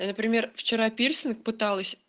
например вчера пирсинг пыталась